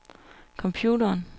computeren